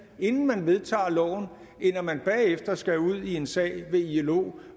inden man vedtager loven end at man bagefter skal ud i en sag ved ilo